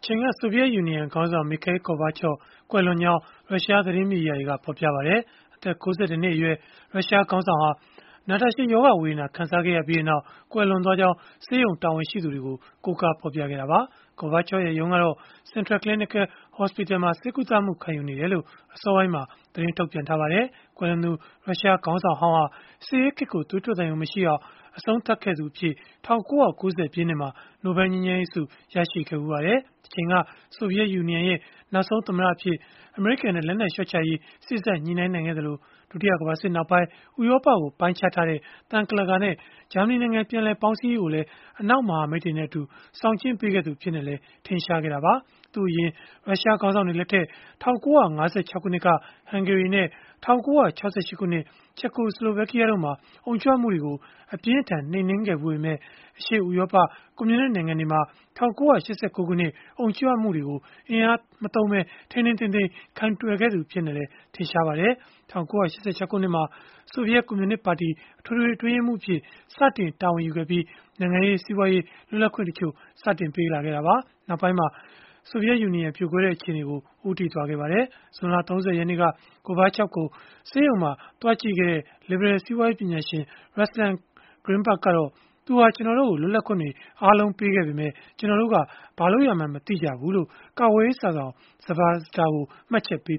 ချိန်က ဆိုဗီယက် ယူနီယံခေါင်းဆောင် Mikhail Gorbachev ကွယ်လွန်ကြောင်း ရုရှားသတင်းမီဒီယာတွေက ဖော်ပြလိုက်ကြပါတယ်။ အသက် ၉၁ နှစ်အရွယ် ရုရှားခေါင်းဆောင်ဟောင်းဟာ နာတာရှည် ရောဂါဝေဒနာ ခံစားခဲ့ရပြီးနောက် ကွယ်လွန်သွားကြောင်း ဆေးရုံတာဝန်ရှိသူတွေကို ကိုးကားပြီး ဖော်ပြခဲ့ကြတာပါ။ Gorbachev ရဲ့ ရုံးကတော့ Central Clinical Hospital မှာ ဆေးကုသမှု ခံယူနေကြောင်း အစောပိုင်းမှာ သတင်းထုတ်ပြန်ထားပါတယ်။ ကွယ်လွန်သူ ရုရှားခေါင်းဆောင်ဟောင်းဟာ စစ်အေးခေတ်ကို သွေးထွက်သံယို မရှိအောင် အဆုံးသတ်ခဲ့သူအဖြစ် ၁၉၉၀ ပြည့်နှစ်မှာ နိုဘယ်လ်ငြိမ်းချမ်းရေးဆု ရရှိခဲ့ဖူးပါတယ်။ တချိန်က ဆိုဗီယက် ယူနီယံရဲ့ နောက်ဆုံး သမ္မတအဖြစ် အမေရိကန်နဲ့ လက်နက်လျှော့ချရေး စေ့စပ်ညှိနှိုင်းနိုင်ခဲ့သလို၊ ဒုတိယကမ္ဘာစစ်နောက်ပိုင်း ဥရောပကို ပိုင်းခြားထားတဲ့ သံကန့်လန့်ကာနဲ့ ဂျာမနီနိုင်ငံ ပြန်လည်ပေါင်းစည်းရေးကိုလည်း အနောက်မဟာမိတ်တွေနဲ့အတူ ဆောင်ကျဉ်းပေးခဲ့သူ အဖြစ်နဲ့လည်း ထင်ရှားခဲ့တာပါ။ သူ့အရင် ရုရှားခေါင်းဆောင်တွေလက်ထက် ၁၉၅၆ ခုနှစ်က ဟန်ဂေရီနဲ့ ၁၉၆၈ ခုနှစ် ချက်ကို-ဆလိုဗက်ကီးယားတို့မှာ အုံကြွမှုတွေကို အပြင်းအထန် နှိမ်နင်းခဲ့ဖူးပေမဲ့ အရှေ့ဥရောပ ကွန်မြူနစ်နိုင်ငံတွေမှာ ၁၉၈၉ ခုနှစ် အုံကြွမှုတွေကို အင်အားမသုံးပဲ ထိန်းထိန်းသိမ်းသိမ်း ကိုင်တွယ်ခဲ့သူလည်း ဖြစ်ပါတယ်။ ၁၉၈၆ ခုနှစ်မှာ ဆိုဗီယက် ကွန်မြူနစ်ပါတီ အထွေထွေ အတွင်းရေးမှူးအဖြစ် စတင်တာဝန်ယူခဲ့ပြီး နိုင်ငံရေး၊ စီးပွားရေး လွတ်လပ်ခွင့် တချို့ရရှိလာခဲ့ပေမဲ့ နောက်ပိုင်းမှာ ဆိုဗီယက်ယူနီယံ ပြိုကွဲတဲ့အခြေအနေကို ဦးတည်ခဲ့တာပါ။ ဇွန်လ ၃၀ ရက်နေ့က Gorbachev ကို ဆေးရုံမှာ သွားကြည့်ခဲ့တဲ့ လစ်ဘရယ်စီးပွားရေး ပညာရှင် Ruslan Grinberg ကတော့ “သူဟာ ကျနော်တို့ကို လွတ်လပ်ခွင့်တွေ အားလုံးပေးခဲ့ပေမဲ့၊ ကျနော်တို့က ဘာလုပ်ရမှန်း မသိကြဘူး။” လို့ ကာကွယ်ရေးစာစောင် Zvezda ကို မှတ်ချက်ပေး